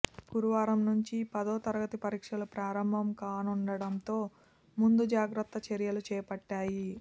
గురువారం నుంచి పదో తరగతి పరీక్షలు ప్రారంభం కానుండటంతో ముందు జాగ్రత్త చర్యలు చేపట్టాయి